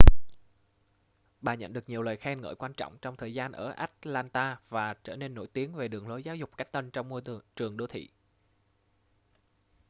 bà nhận được nhiều lời khen ngợi quan trọng trong thời gian ở atlanta và trở nên nổi tiếng về đường lối giáo dục cách tân trong môi trường đô thị